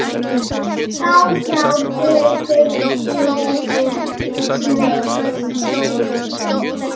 blágrár reykur yfir sveif